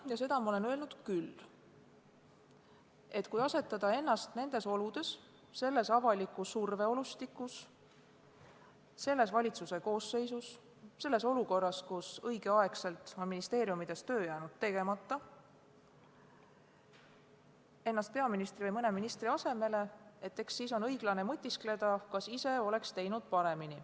Ja seda olen ma öelnud küll, et kui asetada ennast nendes oludes, selles avaliku surve olustikus, selles valitsuse koosseisus, selles olukorras, kus ministeeriumides on õigel ajal jäänud töö tegemata, ennast peaministri või mõne teise ministri asemele, siis on õiglane mõtiskleda, kas ise oleks teinud paremini.